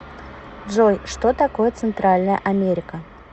джой что такое центральная америка